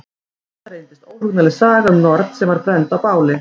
Þetta reyndist óhugnanleg saga um norn sem var brennd á báli.